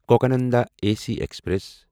Cocanada A C express